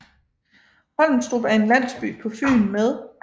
Holmstrup er en landsby på Fyn med